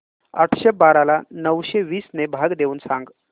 आठशे बारा ला नऊशे वीस ने भाग देऊन सांग